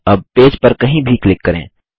अब पेज पर कहीं भी क्लिक करें